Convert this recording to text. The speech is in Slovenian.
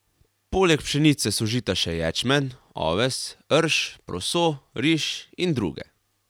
Poleg pšenice so žita še ječmen, oves, rž, proso, riž in druge.